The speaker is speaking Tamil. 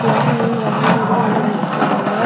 எல்லாரு மீன் வாங்குறதுக்கு வந்து நிக்கிறாங்க.